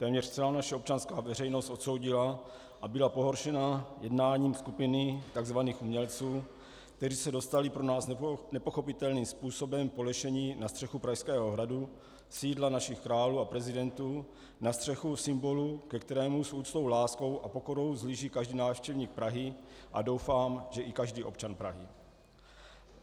Téměř celá naše občanská veřejnost odsoudila a byla pohoršena jednáním skupiny tzv. umělců, kteří se dostali pro nás nepochopitelným způsobem po lešení na střechu Pražského hradu, sídla našich králů a prezidentů, na střechu symbolu, ke kterému s úctou, láskou a pokorou vzhlíží každý návštěvník Prahy, a doufám, že i každý občan Prahy.